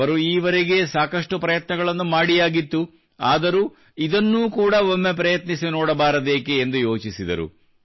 ಅವರು ಈವರೆಗೇ ಸಾಕಷ್ಟು ಪ್ರಯತ್ನಗಳನ್ನು ಮಾಡಿಯಾಗಿತ್ತು ಆದರೂ ಇದನ್ನೂ ಕೂಡಾ ಒಮ್ಮೆ ಪ್ರಯತ್ನಿಸಿ ನೋಡಬಾರದೇಕೆ ಎಂದು ಯೋಚಿಸಿದರು